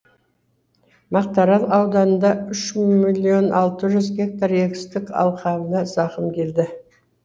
мақтаарал ауданында үш миллион алтыз жүз гектар егістік алқабына зақым келді